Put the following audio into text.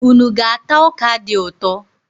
Unu ga-ata ọka dị ụtọ?